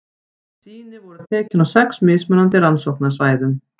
Sýni voru tekin á sex mismunandi rannsóknarsvæðum.